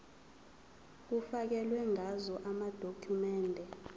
kufakelwe ngazo amadokhumende